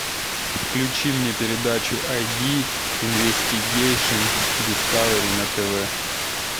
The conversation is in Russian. включи мне передачу ай ди инвестигейшн дискавери на тв